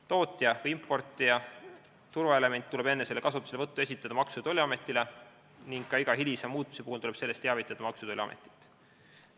Tootja või importija turvaelement tuleb enne selle kasutuselevõttu esitada Maksu- ja Tolliametile ning ka igast hilisemast muutmisest tuleb teavitada Maksu- ja Tolliametit.